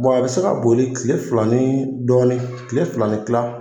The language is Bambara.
Bɔn a be se ka boli kile fila ni dɔɔni kile fila ni kila